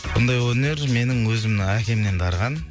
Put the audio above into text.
бұндай өнер менің өзімнің әкемнен дарыған